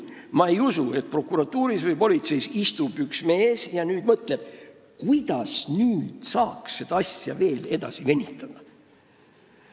Ma ei usu, et prokuratuuris või politseis istub üks mees ja mõtleb, kuidas saaks ühe asjaga veel venitada.